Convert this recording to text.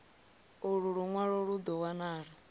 ulu lunwalo lu do wanala